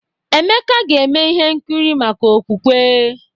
Emeka ga-eme ihe nkiri maka okwukwe.